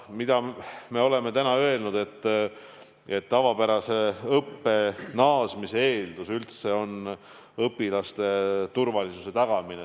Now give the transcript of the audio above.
Me oleme öelnud, et tavapärase õppe naasmise eeldus on õpilaste turvalisuse tagamine.